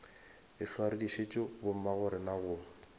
ehlwa re dišitše bommagorena go